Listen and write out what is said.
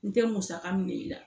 N te musaka minɛ i la